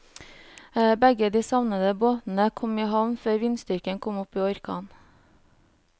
Begge de savnede båtene kom i havn før vindstyrken kom opp i orkan.